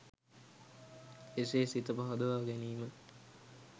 එසේ සිත පහදවා ගැනීම